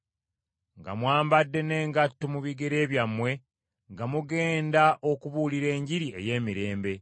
nga mwambadde n’engatto mu bigere byammwe nga mugenda okubuulira Enjiri ey’emirembe.